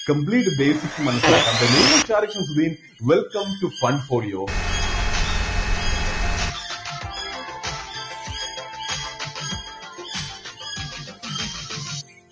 complete basics ഉം മനസ്സിലാക്കാം the name is Shahrukh Shamsuddin welcome to fund folio